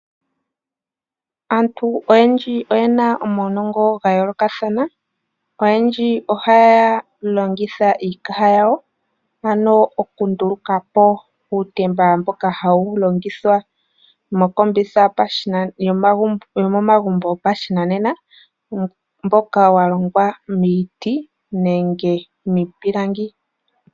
Aantu oyendji oye na omaunongo gayoolokathana. Oyendji ohaya longitha iikaha yawo, ano okunduluka po uutemba mboka hawu longithwa mokombitha yomomagumbo gopashinanena mboka wa longwa miiti nenge miipilangi.